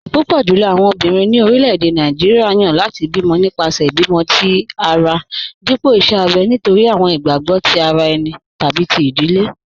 Púpọ̀ jùlọ̀ àwọn ọ̀bìnrin ni orílẹ̀-èdè Nàìjíríà yan láti bí mọ̀ nípasẹ̀ ìbímọ̀̀ tì ara dípọ̀ ìṣè àbẹ̀ nítorí àwọn ìgbàgbọ̀ tì ara ènì tàbí tí ìdílé.